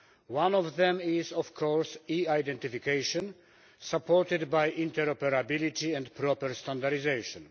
One of them is, of course, e identification, supported by interoperability and proper standardisation.